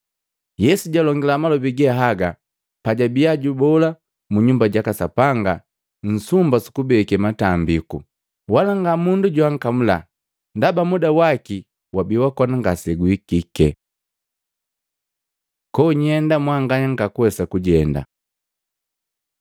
Yesu jalongila malobi ge haga pajabiya jubola mu Nyumba jaka Sapanga nsumba sukubeke matambiku, wala nga mundu joankamula, ndaba muda waki wabi wakona ngaseguhikike. Konyenda mwanganya ngakuwesa kujenda